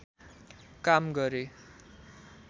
काम गरे